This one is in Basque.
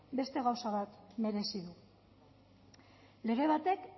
beste gauza bat merezi du lege batek